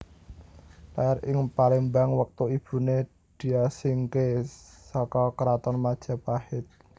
Lair ing Palembang wektu ibune diasingke saka Kraton Majapahit